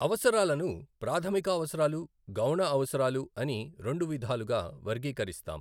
అవసరాలను ప్రాధమిక అవసరాలు, గౌణ అవసరాలు అని రెండు విధాలుగా వర్గీకరిస్తాం.